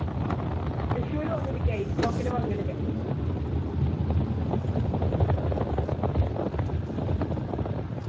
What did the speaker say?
തൃശൂര് വന്നിരിക്ക ITFOK ല് പങ്കെടുക്കാൻ